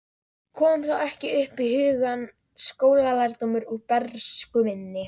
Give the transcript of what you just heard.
Kom þá ekki upp í hugann skólalærdómur úr bernsku minni.